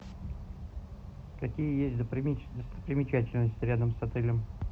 какие есть достопримечательности рядом с отелем